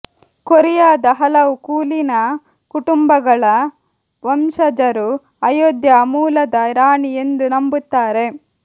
ಕೊರಿಯಾದ ಹಲವು ಕುಲೀನ ಕುಟುಂಬಗಳ ವಂಶಜರು ಅಯೋಧ್ಯಾ ಮೂಲದ ರಾಣಿ ಎಂದು ನಂಬುತ್ತಾರೆ